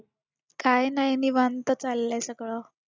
काय नाय निवांत चालय सगळ